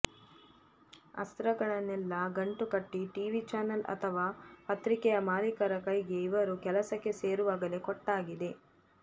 ಅಸ್ತ್ರಗಳನ್ನೆಲ್ಲ ಗಂಟು ಕಟ್ಟಿ TV channel ಅಥವಾ ಪತ್ರಿಕೆಯ ಮಾಲಿಕರ ಕೈಗೆ ಇವರು ಕೆಲಸಕ್ಕೆ ಸೇರುವಾಗಲೇ ಕೊಟ್ಟಾಗಿದೆ